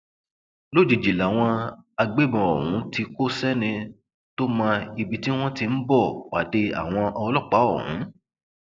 lójijì làwọn agbébọn ọhún tí kò sẹni tó mọ ibi tí wọn ti ń bọ pàdé àwọn ọlọpàá ọhún